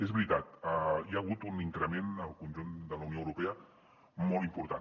és veritat hi ha hagut un increment al conjunt de la unió europea molt important